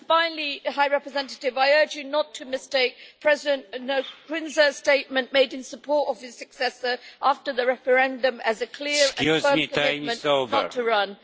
Finally, High Representative, I urge you not to mistake President Nkurunziza's statement, made in support of his successor after the referendum, as a clear and firm commitment not to run.